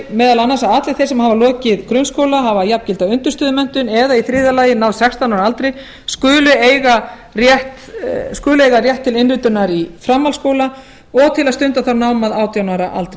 meðal annars að allir þeir sem hafa lokið grunnskóla hafa jafngilda undirstöðumenntun eða í þriðja lagi náð sextán ára aldri skulu eiga rétt til innritunar í framhaldsskóla og til að stunda það nám að átján ára aldri